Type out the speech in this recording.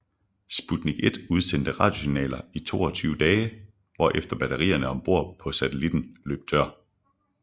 Sputnik 1 udsendte radiosignaler i 22 dage hvorefter batterierne om bord på satellitten løb tør